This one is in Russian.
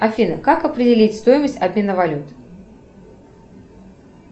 афина как определить стоимость обмена валют